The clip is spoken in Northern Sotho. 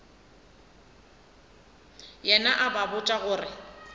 yena a ba botša gore